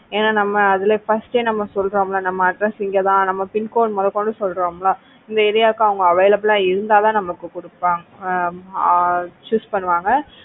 ஏன்னா நம்ம அதுல first சொல்றோம் இல்ல இந்த address இங்க தான் நம்ம pincode முதற்கொண்டு சொல்றோமில்ல இந்த ஏரியாவுக்கு அவங்க available ஆ இருந்தா தான் நமக்கு கொடுப்பாங்க ஆஹ் choose பண்ணுவாங்க